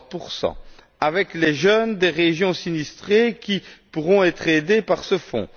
60 avec les jeunes des régions sinistrées qui pourront être aidés par ce Fonds